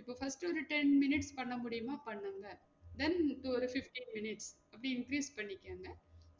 இப்ப first ஒரு ten minutes பண்ண முடியுமா பண்ணுங்க then இப்போ ஒரு fifteen minutes அப்டி increase பண்ணிக்கோங்க